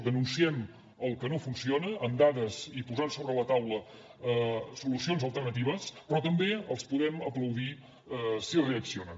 denunciem el que no funciona amb dades i posant sobre la taula solucions alternatives però també els podem aplaudir si reaccionen